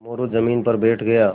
मोरू ज़मीन पर बैठ गया